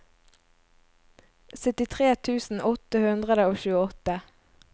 syttitre tusen åtte hundre og tjueåtte